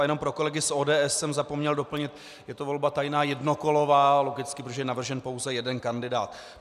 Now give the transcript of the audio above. A jenom pro kolegy z ODS jsem zapomněl doplnit - j to volba tajná, jednokolová, logicky, protože je navržen pouze jeden kandidát.